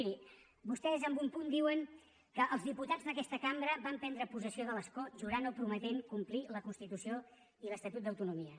miri vostès en un punt diuen que els diputats d’aquesta cambra van prendre possessió de l’escó jurant o prometent complir la constitució i l’estatut d’autonomia